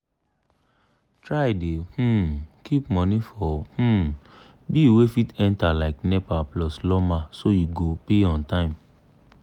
try dey um keep money for um bill wey fit enter like nepa plus lawma so you go pay on time